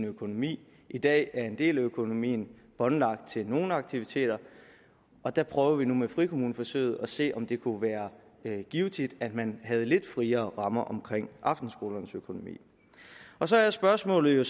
økonomi i dag er en del af økonomien båndlagt til nogle aktiviteter der prøver vi nu med frikommuneforsøget at se om det kunne være givtigt at man havde lidt friere rammer omkring aftenskolernes økonomi så er spørgsmålet